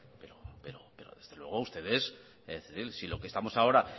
pero desde luego ustedes es decir si lo que estamos ahora